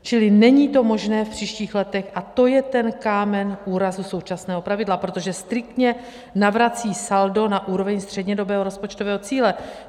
Čili není to možné v příštích letech a to je ten kámen úrazu současného pravidla, protože striktně navrací saldo na úroveň střednědobého rozpočtového cíle.